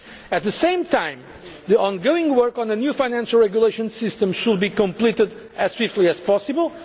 on this. At the same time, the ongoing work on a new financial regulation system should be completed as swiftly as